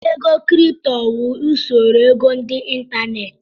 Ego kripto wụ usoro ego ndị ịntanetị.